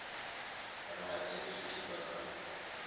rathi zwi tshi bva kha